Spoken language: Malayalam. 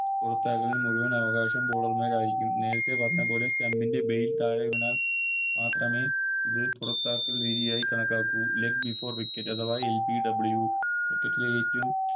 പുറത്താകലിൽ മുഴുവൻ അവകാശവും Bowler മാർ ആരിക്കും നേരത്ത പറഞ്ഞപോലെ Stump ൻറെ Base താഴെ വീണാൽ മാത്രമേ ഇത് പുറത്താക്കൽ രീതിയായി കണക്കാക്കു Leg before wicket അഥവാ LBWCricket ലെ ഏറ്റോം